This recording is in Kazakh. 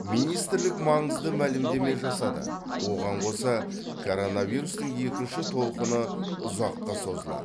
министрлік маңызды мәлімдеме жасады оған қоса коронавирустың екінші толқыны ұзаққа созылады